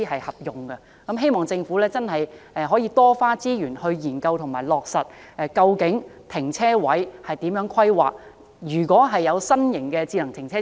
希望政府多花資源，研究落實如何規劃停車位，如何定位新型的智能停車場。